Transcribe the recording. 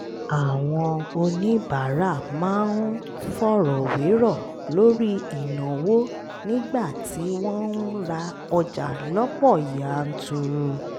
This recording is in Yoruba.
àwọn oníbàárà máa ń fọ̀rọ̀ wérọ̀ lórí ìnáwó nígbà tí wọ́n ń ra ọjà lọ́pọ̀ yanturu